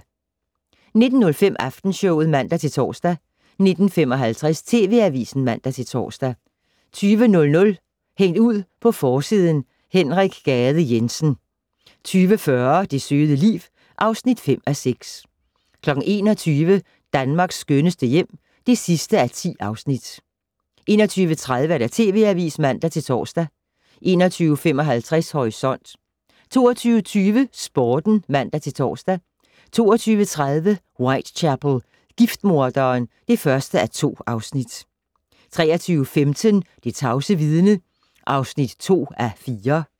19:05: Aftenshowet (man-tor) 19:55: TV Avisen (man-tor) 20:00: Hængt ud på forsiden: Henrik Gade Jensen 20:40: Det søde liv (5:6) 21:00: Danmarks skønneste hjem (10:10) 21:30: TV Avisen (man-tor) 21:55: Horisont 22:20: Sporten (man-tor) 22:30: Whitechapel: Giftmorderen (1:2) 23:15: Det tavse vidne (2:4)